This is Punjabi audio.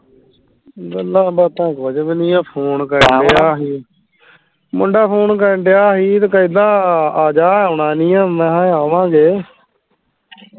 ਗੱਲਾਂ ਬਾਤਾਂ ਕੁਝ ਵੀ ਨਹੀਂ phone ਆ ਕਰਣ ਢਿਆ ਸੀ ਮੁੰਡਾ phone ਕਰਣ ਢਿਆ ਸੀ ਤੇ ਕਹਿੰਦਾ ਆਜਾ ਆਉਣਾ ਨਹੀਂ ਆ ਮੈਂ ਕਿਹਾ ਆਵਾਂਗੇ